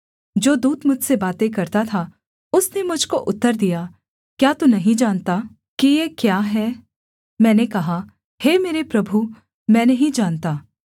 जो दूत मुझसे बातें करता था उसने मुझ को उत्तर दिया क्या तू नहीं जानता कि ये क्या हैं मैंने कहा हे मेरे प्रभु मैं नहीं जानता